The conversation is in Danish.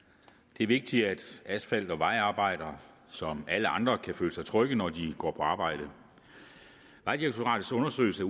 det er vigtigt at asfalt og vejarbejdere som alle andre kan føle sig trygge når de går på arbejde vejdirektoratets undersøgelse